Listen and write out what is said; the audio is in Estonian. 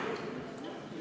Istungi lõpp kell 15.06.